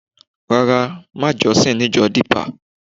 Rárá, màá jọ́sìn ní ìjọ Dípà